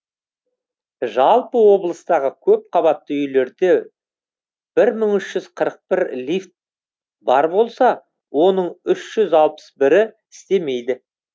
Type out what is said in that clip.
жалпы облыстағы көпқабатты үйлерде бір мың үш жүз қырық бір лифт бар болса оның үш жүз алпыс бірі істемейді